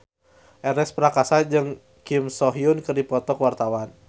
Ernest Prakasa jeung Kim So Hyun keur dipoto ku wartawan